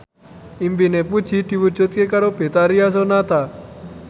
impine Puji diwujudke karo Betharia Sonata